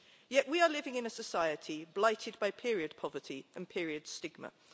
Yet, we are living in a society blighted by period poverty and period stigma.